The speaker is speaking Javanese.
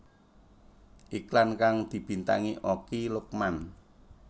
Iklan kang dibintangi Okky Lukman